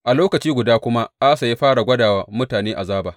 A lokaci guda kuma Asa ya fara gwada wa mutane azaba.